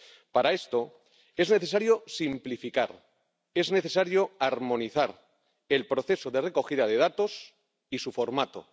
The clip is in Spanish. Para esto, es necesario simplificar, es necesario armonizar el proceso de recogida de datos y su formato.